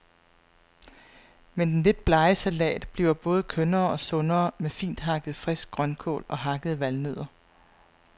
Men den lidt blege salat bliver både kønnere og sundere med finthakket frisk grønkål og hakkede valnødder.